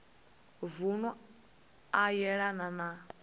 vunu ane a yelana na